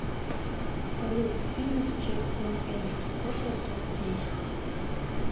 салют фильмы с участием эндрю скотта топ десять